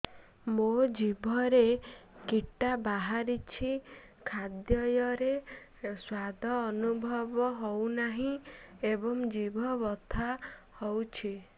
ମୋ ଜିଭରେ କିଟା ବାହାରିଛି ଖାଦ୍ଯୟରେ ସ୍ୱାଦ ଅନୁଭବ ହଉନାହିଁ ଏବଂ ଜିଭ ବଥା ହଉଛି